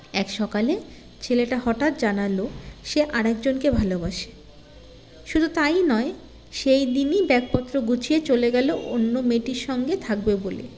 এক সকালে ছেলেটা হঠাৎ জানালো সে আরেকজনকে ভালোবাসে শুধু তাই নয় সেই দিনই bag পত্র গুছিয়ে চলে গেলো অন্য মেয়েটির সঙ্গে থাকবে বলে